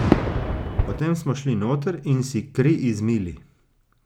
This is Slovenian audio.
Potem smo šli noter in si kri izmili.